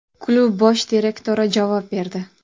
Klub bosh direktori javob berdi.